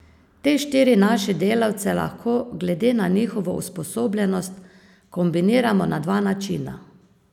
Te štiri naše delavce lahko, glede na njihovo usposobljenost, kombiniramo na dva načina.